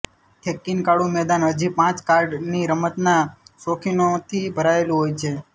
થેક્કીનકાડુ મેદાન હજી પણ કાર્ડની રમતના શોખીનોથી ભરાયેલું હોય છે